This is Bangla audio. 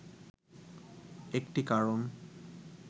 একটি কারণ